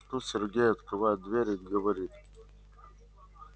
тут сергей открывает дверь и говорит